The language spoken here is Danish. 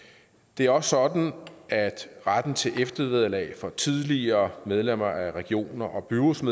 det er også sådan at retten til eftervederlag for tidligere medlemmer af regioner og byråd som